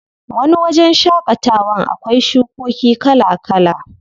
Wani wajen shaƙatawan akwai shukoki kala kala.